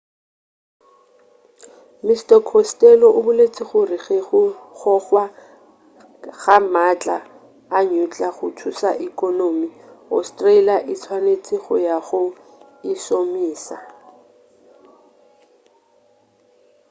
mr costello o boletše gore ge go gogwa ga maatla a nuclear go thuša ekonomi australia e swanetše go ya go e šomiša